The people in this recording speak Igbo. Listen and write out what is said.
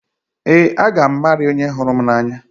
Ee, a ga m Mary onye hụrụ m n'anya.